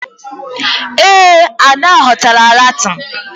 Ee, Ada ghọtara Latin